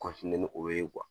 ni o ye